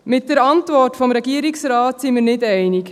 Mit der Antwort des Regierungsrates sind wir nicht einig.